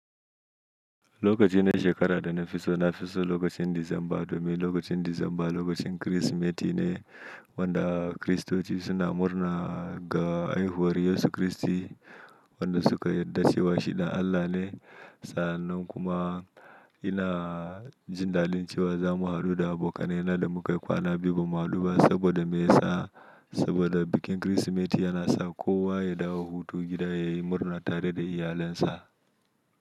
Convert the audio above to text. Lokaci na shekara da na fi so na fi so lokacin Disamba, domin lokacin Disamba lokacin Kirsimeti ne wanda Kiristoci suna murna ga haihuwar Yesu Kiristi wanda suka yarda cewa shi ɗan Allah ne. Sa'an nan kuma ina jin dadin cewa za mu haɗu da abokanai na da muka yi kwana biyu ba mu haɗu ba saboda me ya sa? Saboda bikin Kirsimeti yana sa kowa ya dawo hutu gida ya yi murna tare da iyalinsa.